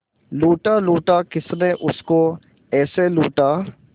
लूटा लूटा किसने उसको ऐसे लूटा